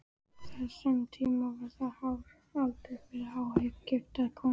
Á þessum tíma var það hár aldur fyrir ógifta konu.